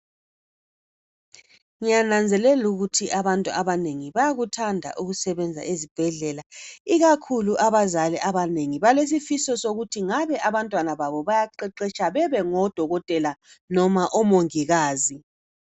Ngiyananzelela ukuthi abantu abanengi bayakuthanda ukusebenza ezibhedlela ikakhulu abazali abanengi balesifiso sokuthi ngabe abantwana babo bayaqeqesha bebe ngodokotela noma omongikazi.